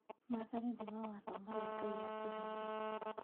Maathani nĩ mawatho marĩa Ngai atũheire